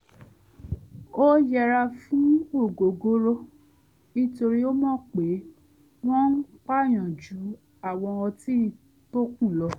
ó yẹra fún ògógóró nítorí ó mọ̀ pé wọ́n ń pàyàn ju àwọn ọtí tókù lọ